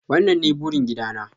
wannan ne burin gida na.